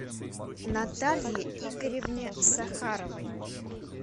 наталье игоревне сахаровой